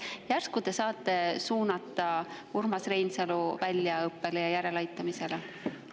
Järsku te saate suunata Urmas Reinsalu väljaõppele ja järeleaitamisele?